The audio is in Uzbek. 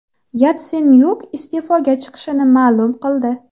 Yatsenyuk iste’foga chiqishini ma’lum qildi .